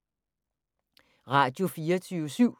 Radio24syv